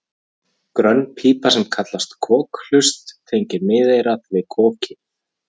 Grönn pípa sem kallast kokhlust tengir miðeyrað við kokið.